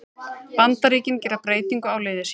Bandaríkin gera breytingu á liði sínu